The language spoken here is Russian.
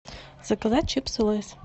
заказать чипсы лэйз